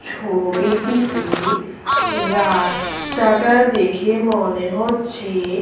ছবিটিতে রাস্তাটা দেখে মনে হচ্ছে--